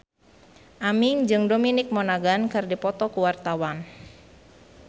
Aming jeung Dominic Monaghan keur dipoto ku wartawan